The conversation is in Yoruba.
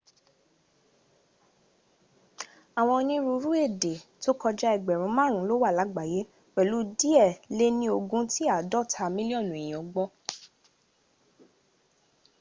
àwọn onírúurú ẹ̀dẹ̀ to kọjá ẹgbèrún márùn lówà làgbáyé pèlú díè lẹ ní ogun tí àádọ́ta milionu eyan gbo